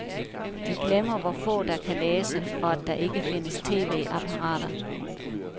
De glemmer, hvor få der kan læse, og at der ikke findes tv-apparater.